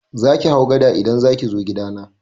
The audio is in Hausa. Zaki hau gada idan zaki zo gidana.